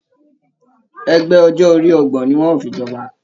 Ẹgbẹ ọjọ orí ọgbọ̀n ní wọn o fí jọba.